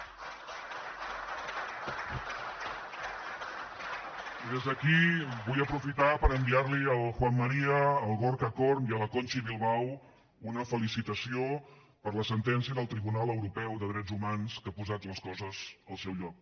i des d’aquí vull aprofitar per enviar li al juan maría al gorka knörr i a la kontxi bilbao una felicitació per la sentència del tribunal europeu de drets humans que ha posat les coses al seu lloc